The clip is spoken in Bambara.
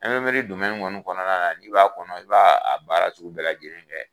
Ɛnprimɛri kɔni dɔmɛni kɔnɔna na, n'i b'a kɔnɔ, i b'a baara sugu bɛɛ lajɛlen kɛ.